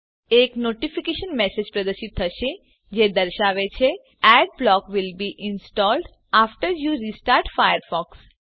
એક notification message પ્રદર્શિત થશે જે દર્શાવે છે Adblock will be installed after you restart Firefox